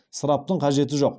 ысыраптың қажеті жоқ